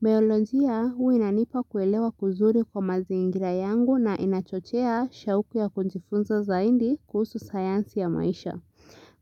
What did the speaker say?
Baiolojia huwa inanipa kuelewa kuzuri kwa mazingira yangu na inachochea shauku ya kujifunza zaidi kuhusu sayansi ya maisha.